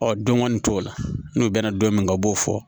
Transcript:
Ɔ don kɔni t'o la n'u bɛna don min na u b'o fɔ